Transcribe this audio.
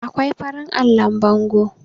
akwai farin allon bango